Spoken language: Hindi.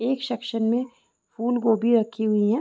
एक सेक्शन में फूलगोभी रखी हुई है।